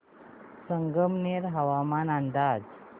संगमनेर हवामान अंदाज